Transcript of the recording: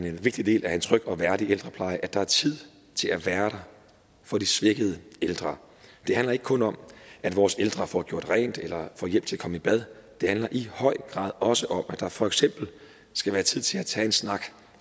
en vigtig del af en tryg og værdig ældrepleje at der er tid til at være der for de svækkede ældre det handler ikke kun om at vores ældre får gjort rent eller får hjælp til at komme i bad det handler i høj grad også om at der for eksempel skal være tid til at tage en snak